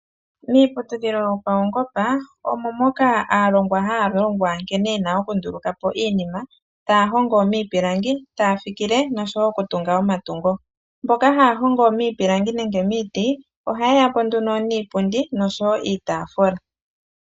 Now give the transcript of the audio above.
Miiputudhilo yo paungoba aalongwa oha ya longwa nkene ye na okundulukapo iinima ta ya hongo miipilangi, ta ya fikile, noshowo okutunga omatungo. mboka ha ya hongo miipilangi nenge momiti. Ohaya etapo po iipundi niitaafula